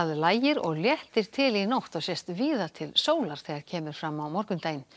lægir og léttir til í nótt og sést víða til sólar þegar kemur fram á morgundaginn